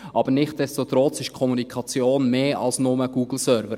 Aber nichtsdestotrotz ist die Kommunikation mehr als nur Google-Server.